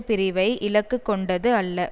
பிரிவை இலக்கு கொண்டது அல்ல